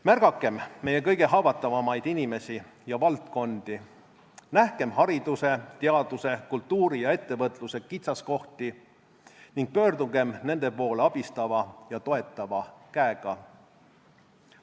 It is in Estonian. Märgakem meie kõige haavatavamaid inimesi ja valdkondi, nähkem hariduse, teaduse, kultuuri ja ettevõtluse kitsaskohti ning pöördugem nende poole abistava ja toetava käega.